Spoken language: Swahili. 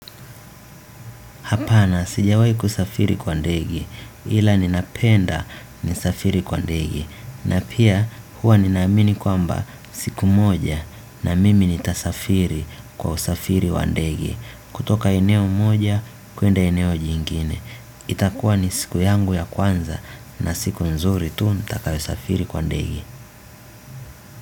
Hapana sijawahi kusafiri kwa ndege, ila ninapenda ni safiri kwa ndege. Na pia huwa ninaamini kwamba siku moja na mimi nitasafiri kwa usafiri kwa ndege. Kutoka eneo moja kuenda eneo jingine. Itakuwa ni siku yangu ya kwanza na siku nzuri tu nitakayo safiri kwa ndege.